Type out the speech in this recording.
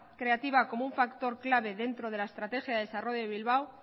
creativa como un factor clave dentro de la estrategia de desarrollo de bilbao